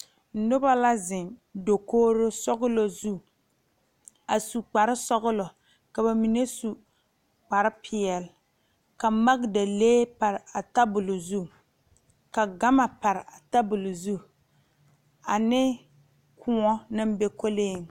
Noba la zeŋ dakogre sɔglɔ zu a su kpare sɔglɔ bamine su kpare peɛle ka magdalee pare a tabol zu ka gama pare a tabol zu ane kõɔ naŋ be kolee.